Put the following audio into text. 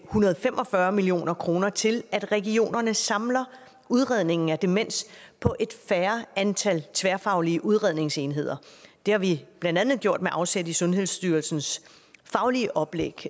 hundrede og fem og fyrre million kroner til at regionerne samler udredningen af demens på et færre antal tværfaglige udredningsenheder det har vi blandt andet gjort med afsæt i sundhedsstyrelsens faglige oplæg